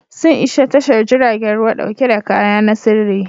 Sun isa tashar jiragen ruwa dauke da kaya na sirri.